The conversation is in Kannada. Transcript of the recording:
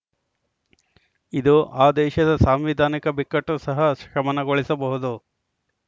ಇದು ಆ ದೇಶದ ಸಾಂವಿಧಾನಿಕ ಬಿಕ್ಕಟ್ಟು ಸಹ ಶಮನಗೊಳಿಸಬಹುದು